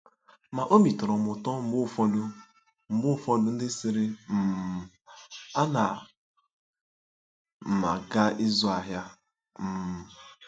Ma obi tọrọ m ụtọ mgbe ụfọdụ mgbe ụfọdụ ndị sịrị, um ‘Ana m aga ịzụ ahịa. um